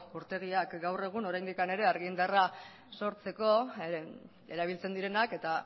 urtegiak gaur egun oraindik ere argi indarra sortzeko erabiltzen direnak eta